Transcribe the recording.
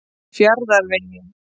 Fjarðarvegi